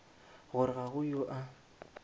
gore ga go yo a